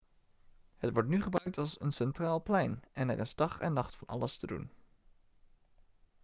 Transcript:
het wordt nu gebruikt als een centraal plein en er is dag en nacht van alles te doen